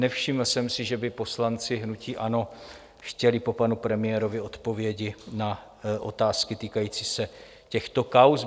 Nevšiml jsem si, že by poslanci hnutí ANO chtěli po panu premiérovi odpovědi na otázky týkající se těchto kauz.